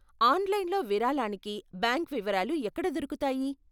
ఆన్లైన్లో విరాళానికి బ్యాంక్ వివరాలు ఎక్కడ దొరుకుతాయి?